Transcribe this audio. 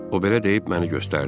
O belə deyib məni göstərdi.